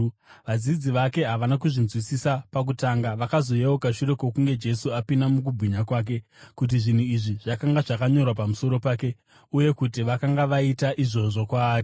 Vadzidzi vake havana kuzvinzwisisa pakutanga. Vakazoyeuka shure kwokunge Jesu apinda mukubwinya kwake, kuti zvinhu izvi zvakanga zvakanyorwa pamusoro pake, uye kuti vakanga vaita izvozvo kwaari.